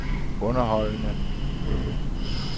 underholdende